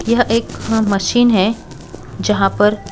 यह एक मशीन है जहां पर--